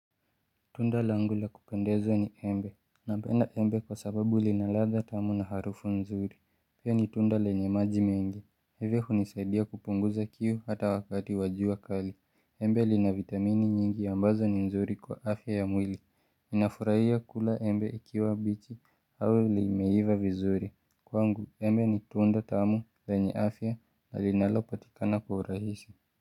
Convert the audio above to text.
Tunda langu la kupendeza ni embe. Napenda embe kwa sababu linaladha tamu na harufu nzuri. Pia ni tunda lenye maji mengi. Hata hivyo hunisaidia kupunguza kiu hata wakati wajua kali. Embe li na vitamini nyingi ambazo ni nzuri kwa afya ya mwili. Ninafurahia kula embe ikiwa bichi au li meiva vizuri. Kwa ngu embe ni tunda tamu lenye afya na linalo patikana kwa urahisi.